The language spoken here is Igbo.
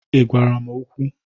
Ị gwara m okwu?